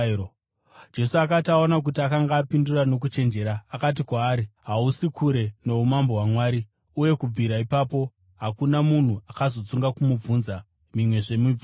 Jesu akati aona kuti akanga apindura nokuchenjera, akati kwaari, “Hausi kure noumambo hwaMwari.” Uye kubvira ipapo hakuna munhu akazotsunga kumubvunza mimwezve mibvunzo.